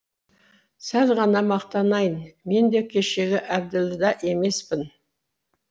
сәл ғана мақтанайын мен де кешегі әбділда емеспін